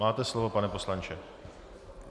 Máte slovo, pane poslanče.